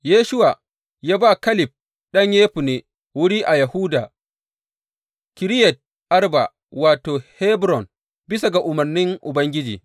Yoshuwa ya ba Kaleb ɗan Yefunne wuri a Yahuda, Kiriyat Arba, wato, Hebron, bisa ga umarnin Ubangiji.